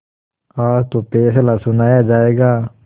आज तो फैसला सुनाया जायगा